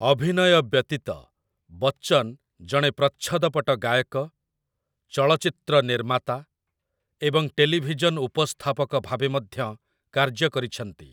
ଅଭିନୟ ବ୍ୟତୀତ, ବଚ୍ଚନ ଜଣେ ପ୍ରଚ୍ଛଦପଟ ଗାୟକ, ଚଳଚ୍ଚିତ୍ର ନିର୍ମାତା ଏବଂ ଟେଲିଭିଜନ ଉପସ୍ଥାପକ ଭାବେ ମଧ୍ୟ କାର୍ଯ୍ୟ କରିଛନ୍ତି ।